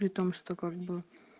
при том что как бы